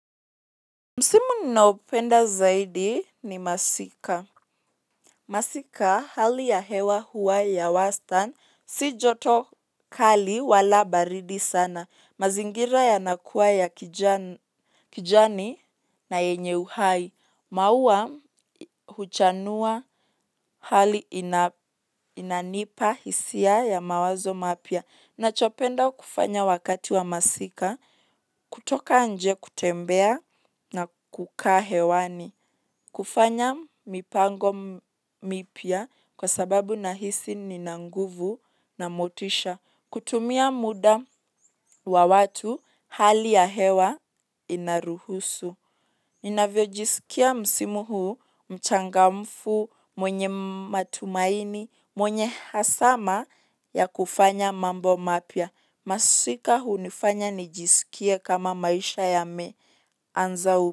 Msimu ninaopenda zaidi ni masika. Masika hali ya hewa huwa ya wastan si joto kali wala baridi sana mazingira yanakuwa ya kijani na yenye uhai. Maua huchanua hali inanipa hisia ya mawazo mapya. Nachopenda kufanya wakati wa masika kutoka nje kutembea na kukaa hewani. Kufanya mipango mipya kwa sababu na hisi nina nguvu na motisha. Kutumia muda wa watu, hali ya hewa inaruhusu. Ninavyojisikia msimu huu, mchangamfu, mwenye matumaini, mwenye hasama ya kufanya mambo mapya. Masika hunifanya nijisikie kama maisha yameanza.